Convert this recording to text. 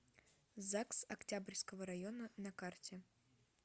загс октябрьского района на карте